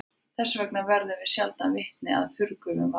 Þess vegna verðum við sjaldan vitni að þurrgufun vatns.